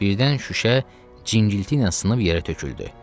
Birdən şüşə cingilti ilə sınıb yerə töküldü.